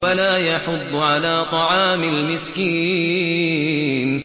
وَلَا يَحُضُّ عَلَىٰ طَعَامِ الْمِسْكِينِ